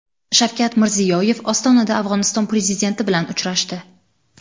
Shavkat Mirziyoyev Ostonada Afg‘oniston prezidenti bilan uchrashdi.